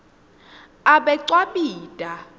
abecwabita